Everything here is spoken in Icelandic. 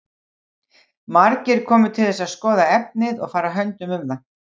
Margir komu til þess að skoða efnið og fara höndum um það.